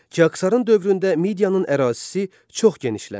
Kiksərın dövründə Midiyanın ərazisi çox genişləndi.